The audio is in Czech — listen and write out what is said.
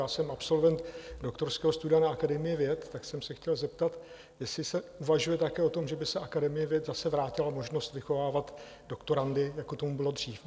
Já jsem absolvent doktorského studia na Akademii věd, tak jsem se chtěl zeptat, jestli se uvažuje také o tom, že by se Akademii věd zase vrátila možnost vychovávat doktorandy, jako tomu bylo dřív.